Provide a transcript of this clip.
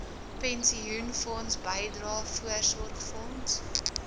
pensioenfonds bydrae voorsorgfonds